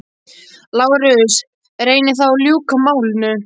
LÁRUS: Reynið þá að ljúka málinu.